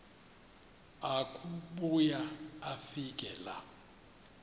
akubuya afike laa